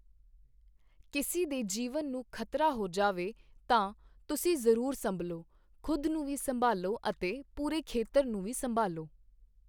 ਕਿਸੇ ਦੇ ਜੀਵਨ ਨੂੰ ਖ਼ਤਰਾ ਹੋ ਜਾਵੇ ਤਾਂ ਤੁਸੀਂ ਜ਼ਰੂਰ ਸੰਭਲ਼ੋ, ਖੁਦ ਨੂੰ ਵੀ ਸੰਭਾਲ਼ੋ ਅਤੇ ਪੂਰੇ ਖੇਤਰ ਨੂੰ ਵੀ ਸੰਭਾਲ਼ੋ।